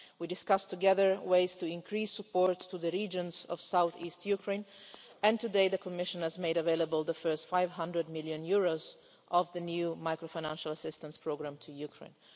We discussed together ways to increase support to the regions of south east Ukraine, and today the Commission has made available the first EUR 500 million of the new macro financial assistance programme to Ukraine.